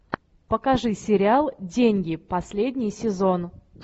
покажи сериал деньги последний сезон